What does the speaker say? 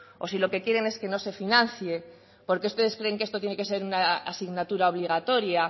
o si lo que quieren es que no se financie porque ustedes creen que esto tiene que ser una asignatura obligatoria